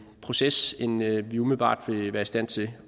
proces end vi vi umiddelbart vil være i stand til